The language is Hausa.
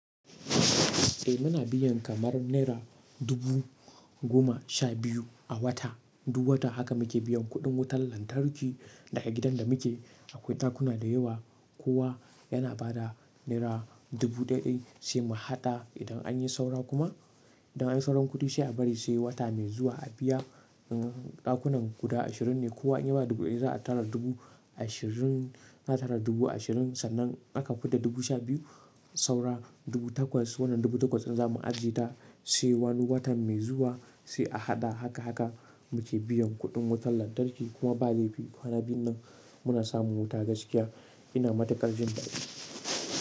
Eh muna biyan kamar naira dubu goma sha biyu a wata. Duk wata haka muke biyan kuɗin wutar lantarki daga gidan da muke. Akwai ɗakuna da yawa. Kowa yana ba da naira dubu ɗai ɗai sai mu haɗa idan an yi saura kuma. Idan an yi sauran kuɗi sai a bari sai wata mai zuwa a biya. Ɗakunan guda ashirin ne. Kowa inya bada dubu ɗaya za a tara dubu ashirin, za a tara dubu ashirin sannan in aka fidda dubu sha biyu saura dubu takwas. Wannan dubu takwas ɗin za mu ajiye ta sai wani watan mai zuwa sai a haɗa haka haka muke biyan kuɗin wutar lantarki kuma ba laifi. Kwana biyun nan muna samun wuta gaskiya. Ina matuƙar jin daɗi.